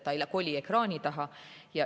Ta ei koli ekraani taha.